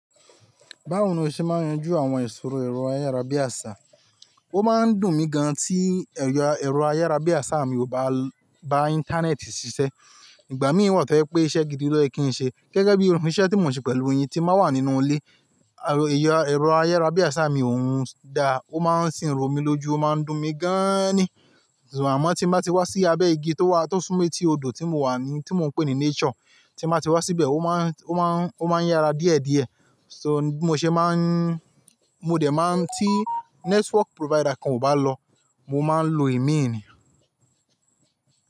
Báwo ni o ṣe máa ń yanjú àwọn ìṣòro ẹ̀rọ ayárabíàṣá? Ó máa ń dùn mí gan tí ẹ̀rọ ayárabíàṣá mi kò bá bá Íńtánẹ́ẹ̀tì ṣiṣẹ́. Ìgbà mí wà tó je pé iṣẹ́ gidi ló yẹ kí n ṣe. Gẹ́gẹ́ bí iru iṣẹ́ tí mò ń ṣe pẹ̀lú yin tí n ba ń wà nínú ilé. Ẹ̀rọ ayárabíàṣá mi ò ń dáa, ó máa ń sì ń ro mí lójú, ó máa ń dùn mí gan aani. Àmọ́ tí mo bá ti wá sí abẹ́ igi tó wà, tó súnmo eti odò tí mo wà ní, tí mò ń pè ní nature, tí mo bá ti wá síbẹ̀, ó máa ń, ó máa ń, ó máa ń yára díẹ̀díẹ̀. So bi mo ṣe máa ń, mo dẹ̀ máa ń tí network provider kan ò bá lọ, mo máa ń lo imi ni.